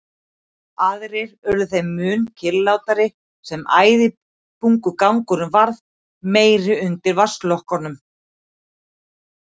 Aðrir urðu þeim mun kyrrlátari sem æðibunugangurinn varð meiri undir vatnslokunum.